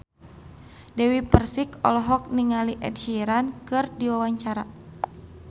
Dewi Persik olohok ningali Ed Sheeran keur diwawancara